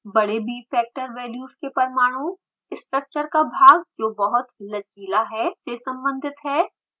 बड़े bfactor values के पामाणु स्ट्रक्चर का भाग जो बहुत लचीला है से सम्बंधित हैं